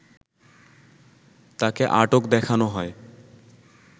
তাকে আটক দেখানো হয়